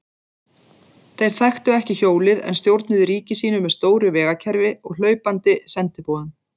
Þeir þekktu ekki hjólið en stjórnuðu ríki sínu með stóru vegakerfi og hlaupandi sendiboðum.